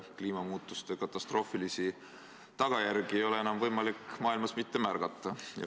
Kliimamuutuste katastroofilisi tagajärgi ei ole enam võimalik maailmas mitte märgata.